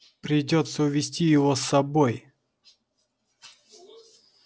придётся увести его с собой